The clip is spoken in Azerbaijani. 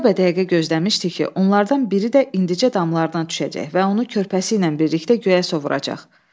Dəqiqəbə-dəqiqə gözləmişdi ki, onlardan biri də indicə damlardan düşəcək və onu körpəsi ilə birlikdə göyə sovuracaq.